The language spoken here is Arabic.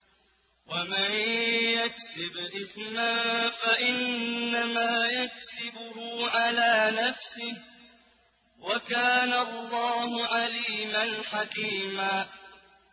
وَمَن يَكْسِبْ إِثْمًا فَإِنَّمَا يَكْسِبُهُ عَلَىٰ نَفْسِهِ ۚ وَكَانَ اللَّهُ عَلِيمًا حَكِيمًا